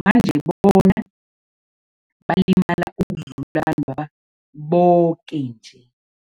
manje bona balimala ukudlula abantwaba boke nje.